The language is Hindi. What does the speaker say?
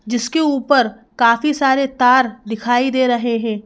जिसके ऊपर काफी सारे तार दिखाई दे रहे हैं।